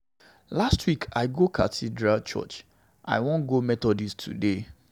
Last week I go catholic church, I wan go methodist today.